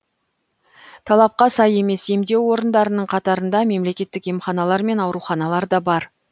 талапқа сай емес емдеу орындарының қатарында мемлекеттік емханалар мен ауруханалар да бар